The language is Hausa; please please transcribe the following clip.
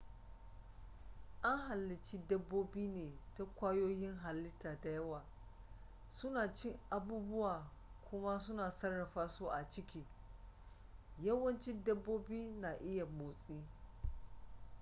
an halici dabobi ne ta kwayoyin hallita dayawa suna cin abubuwa kuma su sarrafa su a ciki yawanci dabobi na iya motsi